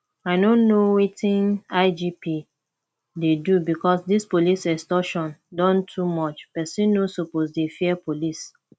i no know wetin igp dey do because dis police extortion don too much person no suppose dey fear police